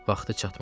Vaxtı çatmadı.